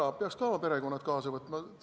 Kas nad peaks ka oma perekonna kaasa võtma?